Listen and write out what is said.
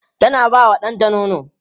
tana ba wa ɗanta nono